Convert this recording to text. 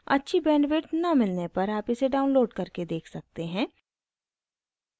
अच्छी bandwidth न मिलने पर आप इसे download करके देख सकते हैं